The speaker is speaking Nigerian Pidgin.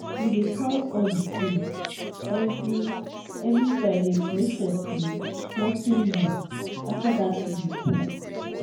we dey count all di tools every every friday to make sure say nothing loss after dat week work.